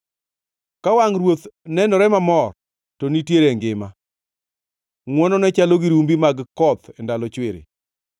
Ka wangʼ ruoth nenore mamor to nitiere ngima, ngʼwonone chalo gi rumbi mag koth e ndalo chwiri.